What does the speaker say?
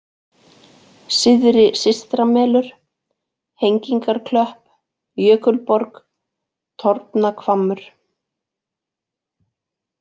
Syðri-Systramelur, Hengingarklöpp, Jökulborg, Torfnahvammur